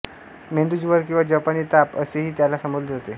मेंदू ज्वर किंवा जपानी ताप असेही याला संबोधले जाते